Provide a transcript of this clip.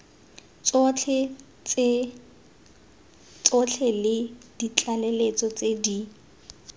tsotlhe le ditlaleletso tse di